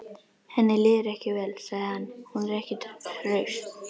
Henni líður ekki vel, sagði hann: Hún er ekki hraust.